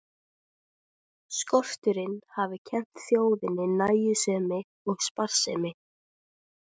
Skorturinn hafi kennt þjóðinni nægjusemi og sparsemi.